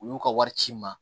U y'u ka wari ci n ma